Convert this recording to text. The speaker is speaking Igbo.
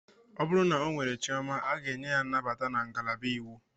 O bụrụ na ọ nwere chioma, a ga-enye ya nnabata na ngalaba iwu.